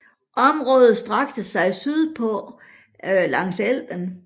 Området strakte sig sydpå langs Elben